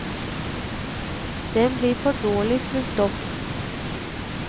Den blir for dårlig fulgt opp.